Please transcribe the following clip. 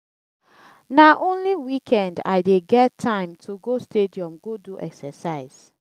na only weekend i dey get time to go stadium go do exercise.